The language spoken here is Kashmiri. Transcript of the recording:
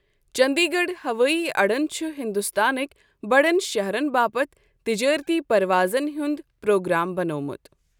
چندی گڑھ ہوٲیی اڈن چھ ہندوستان کٮ۪ن بڑٮ۪ن شہرن باپتھ تجٲرتی پروازن ہنٛد پرٛوگرٛام بنوومت۔